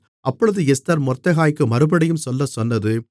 அப்பொழுது எஸ்தர் மொர்தெகாய்க்கு மறுபடியும் சொல்லச்சொன்னது